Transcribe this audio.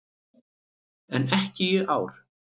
En ekki í ár.